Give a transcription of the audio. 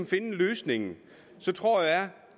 finde løsningen så